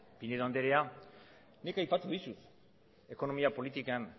pinedo andrea nik aipatu dizut ekonomia politikan